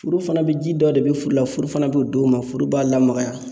Furu fana be ji dɔ de be furu la furu fana b'o d'o ma furu b'a lamagaya